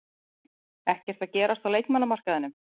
Ekkert að gerast á leikmannamarkaðinum?